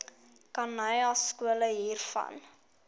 khanyaskole gebruik hiervan